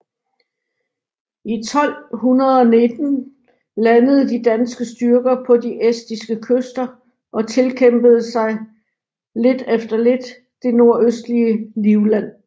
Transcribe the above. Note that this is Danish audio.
I 1219 landede de danske styrker på de estiske kyster og tilkæmpede sig lidt efter lidt det nordøstlige Livland